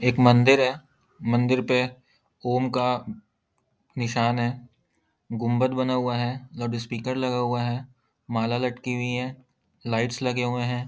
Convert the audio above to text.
एक मंदिर है मंदिर पे ओम का निशान है गुंबद बना हुआ है लाउडस्पीकर लगा हुआ है माला लटकी हुई हैं लाइट्स लगी हुई है ।